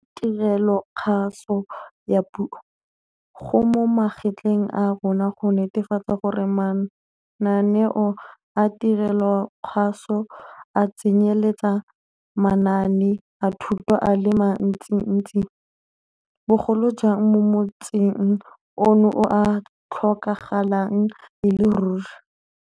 Re le tirelokgaso ya puso, go mo magetleng a rona go netefatsa gore mananeo a tirelokgaso a tsenyeletsa manaane a thuto a le mantsintsi, bogolo jang mo motsing ono o a tlhokagalang e le ruri.